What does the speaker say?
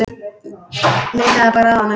Leitaðu bara að honum.